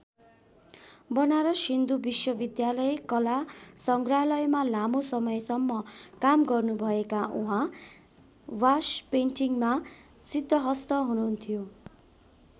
बनारस हिन्दु विश्वविद्यालय कला सङ्ग्रहालयमा लामो समयसम्म काम गर्नुभएका उहाँ वासपेन्टिङमा सिद्धहस्त हुनुहुन्थ्यो।